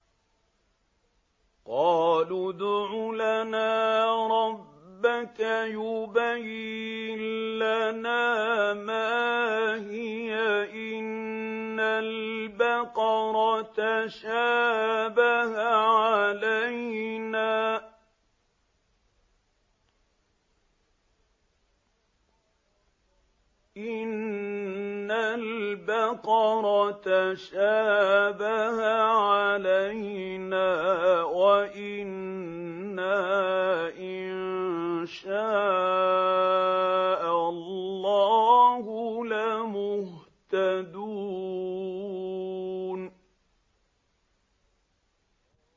قَالُوا ادْعُ لَنَا رَبَّكَ يُبَيِّن لَّنَا مَا هِيَ إِنَّ الْبَقَرَ تَشَابَهَ عَلَيْنَا وَإِنَّا إِن شَاءَ اللَّهُ لَمُهْتَدُونَ